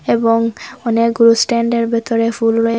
এবং অনেকগুলো স্ট্যান্ডের ভেতরে ফুল রয়ে--